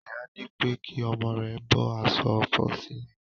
Ìyá nípé kí omo rèè bó aso òfò sìlè.